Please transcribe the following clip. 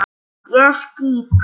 Ég skýt!